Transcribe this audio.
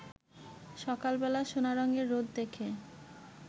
সকালবেলা সোনারঙের রোদ দেখে